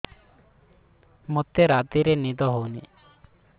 ମୋତେ ରାତିରେ ନିଦ ହେଉନି